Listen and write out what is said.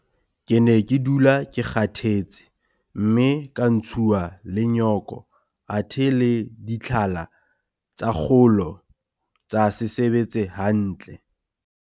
Ke ne ke dula ke kgathetse mme ka ntshuwa le nyoko athe le ditlhala tsa kgolo tsa se sebetse hantle.